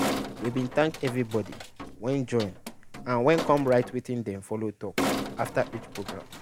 we bin thank everybody wey join and we com write wetin dey follow talk after each program.